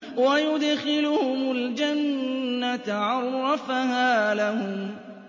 وَيُدْخِلُهُمُ الْجَنَّةَ عَرَّفَهَا لَهُمْ